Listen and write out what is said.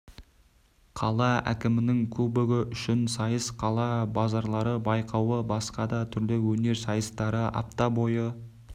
қала әкімінің кубогы үшін сайыс қала базарлары байқауы басқа да түрлі өнер сайыстары апта бойы